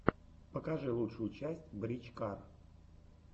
покажи лучшую часть брич кар